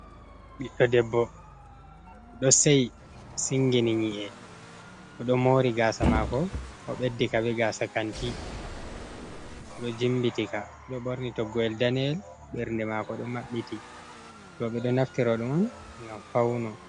Ɓiɗdo debbo ɗo sei singini ni’e o ɗo mori gasa mako, o ɓeddika be gasa kanti o ɗo jimbiti ka, o do ɓorni toggo’el daneyel, ɓernde mako ɗo maɓɓiti, rooɓe ɗo naftiro ɗo on ngam fauno.